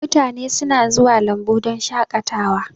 Mutane suna zuwa lambu don shakatawa